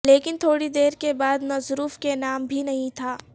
لیکن تھوڑی دیر کے بعد نذروف کے نام بھی نہیں تھا